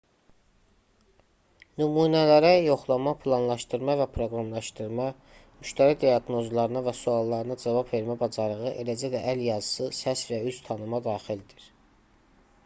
nümunələrə yoxlama planlaşdırma və proqramlaşdırma müştəri diaqnozlarına və suallarına cavab vermə bacarığı eləcə də əl yazısı səs və üz tanıma daxildir